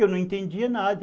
Eu não entendia nada.